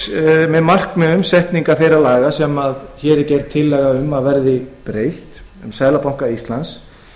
eitt af markmiðum með setningu laganna sem hér er gerð tillaga um að verði breytt um seðlabanka íslands